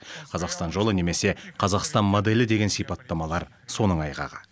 қазақстан жолы немесе қазақстан моделі деген сипаттамалар соның айғағы